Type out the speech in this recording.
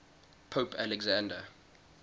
pope alexander